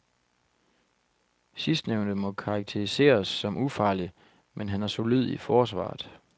Sidstnævnte må karakteriseres som ufarlig, men han er solid i forsvaret.